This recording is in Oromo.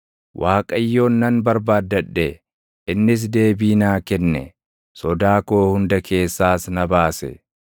Waaqayyoon nan barbaaddadhe; innis deebii naa kenne; sodaa koo hunda keessaas na baase.